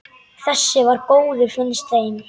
Þessi var góður, finnst þeim.